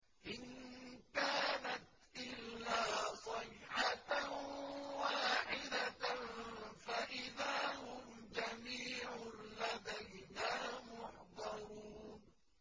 إِن كَانَتْ إِلَّا صَيْحَةً وَاحِدَةً فَإِذَا هُمْ جَمِيعٌ لَّدَيْنَا مُحْضَرُونَ